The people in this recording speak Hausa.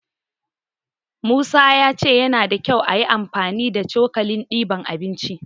Musa ya ce yana da kyau ayi amfani da cokalin diban abinci.